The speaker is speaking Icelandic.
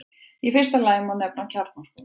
Í fyrsta lagi má nefna kjarnorkuver.